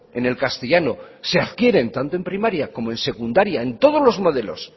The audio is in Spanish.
en el castellano de adquieren tanto en primaria como en secundaria en todos los modelos